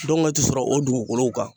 Dɔngɛ ti sɔrɔ o dugugolow kan.